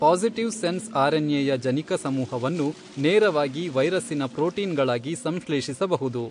Positive sense ಆರ್ಎನ್ಎಯ ಜನಿಕ ಸಮೂಹವನ್ನು ನೇರವಾಗಿ ವೈರಸ್ಸಿನ ಪ್ರೋಟೀನ್ಗಳಾಗಿ ಸಂಶ್ಲೇಷಿಸಬಹುದು.